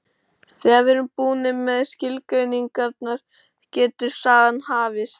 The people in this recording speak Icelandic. Þegar við erum búnir með skilgreiningarnar getur sagan hafist.